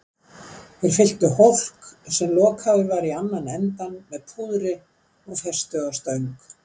Þeir fylltu hólk, sem lokaður var í annan endann, með púðri og festu á stöng.